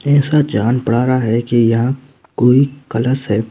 ऐसा जान पढ़ा रहा है कि यहां कोई कलश है।